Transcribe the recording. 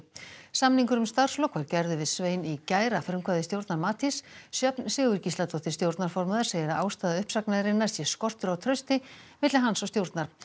samningur um starfslok var gerður við Svein í gær að frumkvæði stjórnar Matís Sjöfn Sigurgísladóttir stjórnarformaður segir að ástæða uppsagnarinnar sé skortur á trausti milli hans og stjórnar